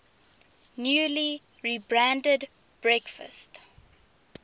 newly rebranded breakfast